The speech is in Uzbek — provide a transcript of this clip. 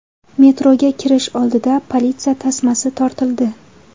Metroga kirish oldida politsiya tasmasi tortildi.